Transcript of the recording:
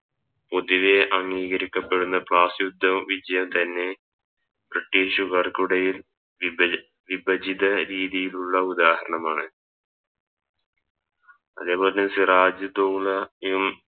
പൊതുവെ അംഗീകരിക്കപ്പെടുന്ന പ്ലസ്സയുദ്ധ വിജയം തന്നെ ബ്രിട്ടീഷുകാർക്കിടയിൽ വിഭ വിഭജത രീതിയിലുള്ള ഉദാഹരണമാണ് അതേപോലെ സിറാജുധൗളായും